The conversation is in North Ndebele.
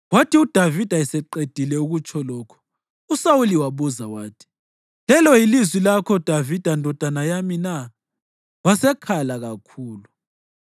Kwathi uDavida eseqedile ukutsho lokhu, uSawuli wabuza wathi, “Lelo yilizwi lakho, Davida ndodana yami na?” Wasekhala kakhulu.